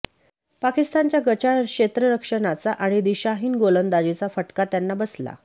पाकिस्तानच्या गचाळ क्षेत्ररक्षणाचा आणि दिशाहीन गोलंदाजीचा फटका त्यांना बसला